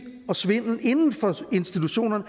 og svindel inden for institutionerne